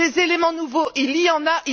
Des éléments nouveaux, il y en a.